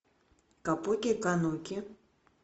капуки кануки